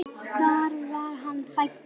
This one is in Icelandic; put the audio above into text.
Hvar var hann fæddur?